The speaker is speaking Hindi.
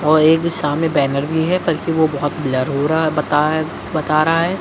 और एक दिशा में बैनर भी है बल्कि वह बहुत ब्लर हो रहा है बता बता रहा है।